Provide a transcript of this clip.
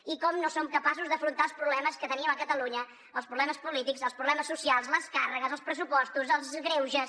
i de com no som capaços d’afrontar els problemes que tenim a catalunya els problemes polítics els problemes socials les càrregues els pressupostos els greuges